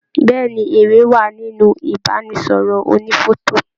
Bẹẹni, èrè wá nínú ibanisọrọ ònífọ̀tò.